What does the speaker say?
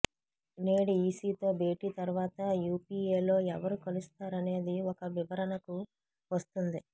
నేడు ఈసీతో భేటీ తర్వాత యూపీఏతో ఎవరు కలుస్తారనేది ఒక వివరణకు వస్తుంది